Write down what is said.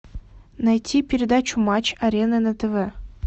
найти передачу матч арена на тв